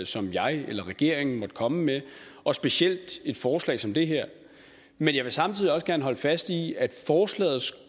som jeg eller regeringen er kommet med og specielt et forslag som det her men jeg vil samtidig også gerne holde fast i at forslagets